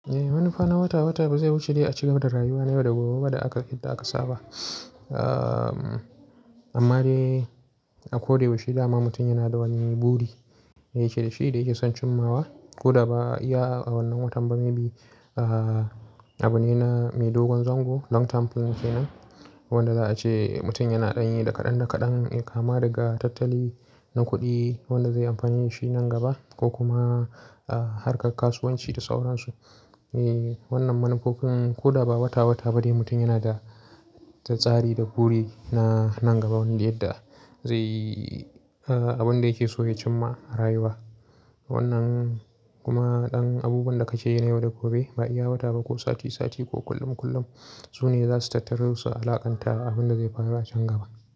Eh, manufa na wata-wata ba zai wuce dai a cire mata rayuwa na yau da gobe ba da aka idda aka saba. Amma dai a ko da ya wuce dama mutum yana da wani buri da yake da shi da yake son cimmawa. Ko da ba ya a wannan watan ba maybe abu ne na mai dogon zango long term plan kenan wanda za a ce mutum yana ɗanye da kaɗan-kaɗan kama daga tattali na kuɗi wanda zai amfanaye shi nan gaba ko kuma harkar kasuwanci da sauransu. Eh wannan manufofin ko da ba wata-wata ba dai mutum yana da, da tsari da buri na nan gaba wanda yadda zai yi abin da yake so ya cimma a rayuwa. Wannan kuma ɗan abubuwan da ka ci yana yau da gobe ba yi wata ba ko sati sati ko kullum kullum. Su ne za su tattaru su alaƙanta abin da zai faru a can gaba.